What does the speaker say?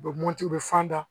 U bɛ mɔti u be fan da